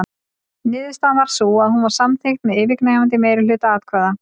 Niðurstaðan varð sú að hún var samþykkt með yfirgnæfandi meirihluta atkvæða.